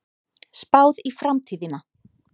Spáð í framtíðina